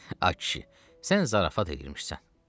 Ay kişi, sən zarafat eləyirmişsən.